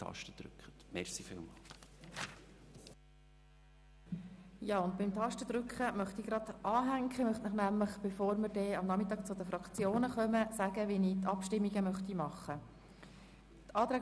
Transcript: Ich möchte beim Tastendrücken weiterfahren: Bevor wir am Nachmittag zu den Fraktionen kommen, möchte ich Ihnen aufzeigen, wie ich bei den Abstimmungen vorgehen möchte.